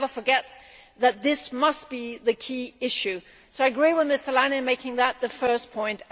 We should never forget that this must be the key issue, so I agree with Mr Leinen on making that the first point.